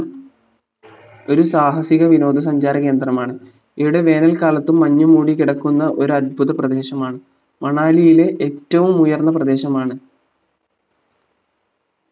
ഒരുസാഹസിക വിനോദസഞ്ചാര കേന്ദ്രമാണ് ഇവിടെ വേനൽക്കാലത്തും മഞ്ഞു മൂടികിടക്കുന്ന ഒരത്ഭുത പ്രദേശമാണ് മണാലിയിലെ ഏറ്റവും ഉയർന്ന പ്രദേശമാണ്